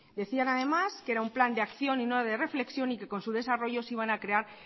decían además que era un plan de acción y no de reflexión y que con su desarrollo se iban a crear